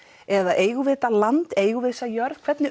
eða eigum við þetta land eigum við þessa jörð hvernig